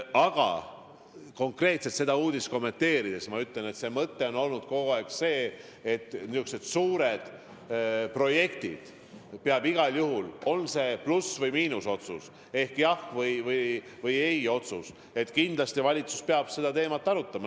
Aga kui konkreetselt seda uudist kommenteerida, siis ma ütlen, et mõte on olnud kogu aeg see, et kui on niisugused suured projektid, siis peab igal juhul – on see pluss- või miinusotsus ehk jah- või ei-otsus – valitsus seda teemat arutama.